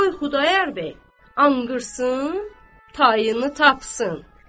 qoy Xudayar bəy anqırsın, tayını tapsın.